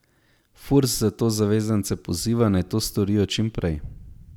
Furs zato zavezance poziva, naj to storijo čim prej.